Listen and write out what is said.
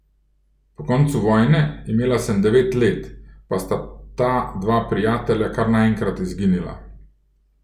Po koncu vojne, imela sem devet let, pa sta ta dva prijatelja kar naenkrat izginila.